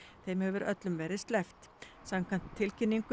þeim hefur öllum verið sleppt samkvæmt tilkynningu